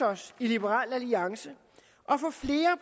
os i liberal alliance